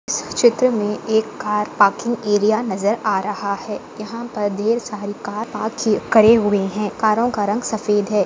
इस चित्र मे एक कार पार्किंग एरिया नजर आ रहा है यहाँ पर ढेर सारी कार पार्क की करे हुए है कारो का रंग सफेद है।